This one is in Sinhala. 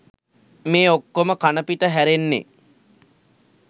මේ ඔක්කොම කනපිට හැරෙන්නේ